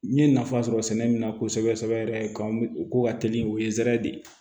N ye nafa sɔrɔ sɛnɛ min na kosɛbɛ sɛbɛ yɛrɛ kan o ko ka teli o ye zɛrɛri de ye